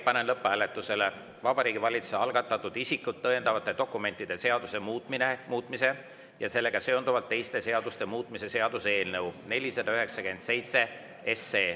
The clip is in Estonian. Panen lõpphääletusele Vabariigi Valitsuse algatatud isikut tõendavate dokumentide seaduse muutmise ja sellega seonduvalt teiste seaduste muutmise seaduse eelnõu 497.